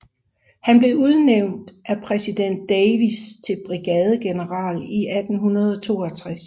Han blev udnævnt af præsident Davis til brigadegeneral i 1862